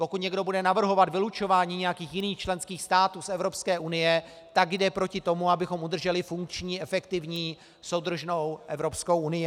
Pokud někdo bude navrhovat vylučování nějakých jiných členských států z Evropské unie, tak jde proti tomu, abychom udrželi funkční, efektivní, soudržnou Evropskou unii.